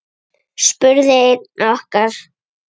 spurði einn okkar.